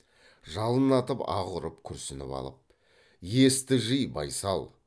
жалын атып аһ ұрып күрсініп алып есті жи байсал